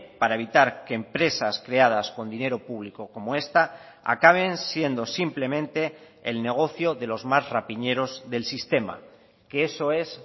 para evitar que empresas creadas con dinero público como esta acaben siendo simplemente el negocio de los más rapiñeros del sistema que eso es